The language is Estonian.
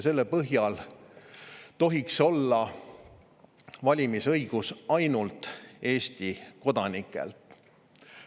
Selle põhjal tohiks valimisõigus olla ainult Eesti kodanikel.